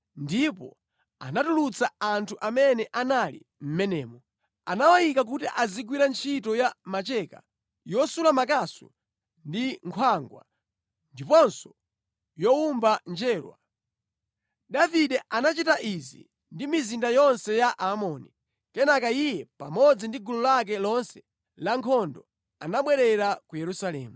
ndipo anatulutsa anthu amene anali mʼmenemo, nawayika kuti azigwira ntchito ya macheka, yosula makasu ndi nkhwangwa, ndiponso yowomba njerwa. Davide anachita izi ndi mizinda yonse ya Aamoni. Kenaka iye pamodzi ndi gulu lake lonse lankhondo anabwerera ku Yerusalemu.